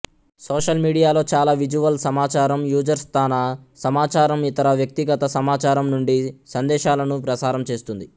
social మీడియాలో చాలా visual సమాచారం యూజర్ స్థాన సమాచారం ఇతర వ్యక్తిగత సమాచారం నుండి సందేశాలను ప్రసారం చేస్తుంది